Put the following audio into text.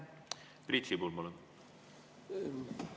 Priit Sibul, palun!